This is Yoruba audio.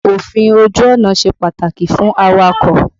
Òfin ojú ọ̀nà ṣe pàtàkì fún awakọ̀.